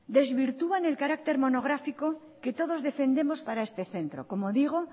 desvirtúan el carácter monográfico que todos defendemos para este centro como digo